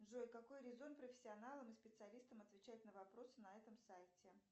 джой какой резон профессионалам и специалистам отвечать на вопросы на этом сайте